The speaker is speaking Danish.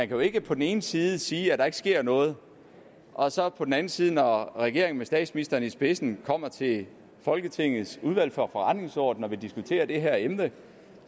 jo ikke på den ene side sige at der ikke sker noget og så på den anden side når regeringen med statsministeren i spidsen kommer til folketingets udvalg for forretningsordenen og vil diskutere det her emne